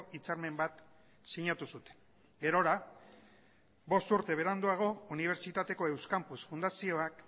hitzarmen bat sinatu zuten gerora bost urte beranduago unibertsitateko euskampus fundazioak